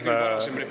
Tõsi küll …